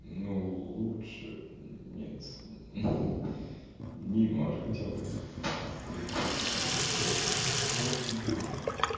ну лучше нет неймар хотя бы крутился там вертелся ну в общем